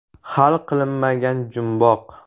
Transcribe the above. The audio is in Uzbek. Hal qilinmagan jumboq.